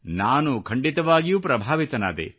ನಾನು ಖಂಡಿತವಾಗಿಯೂ ಪ್ರಭಾವಿತನಾದೆ